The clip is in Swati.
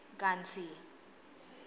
kantsi